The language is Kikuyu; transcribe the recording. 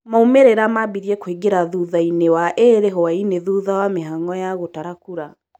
Maumĩrĩra mambirie kũĩngĩra thutha-inĩ waĩrĩ hwaini thutha wa mĩhang'o ya gũtara kũra